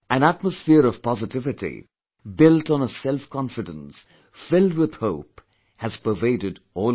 An atmosphere of positivity built on a self confidence filled with hope has pervaded all over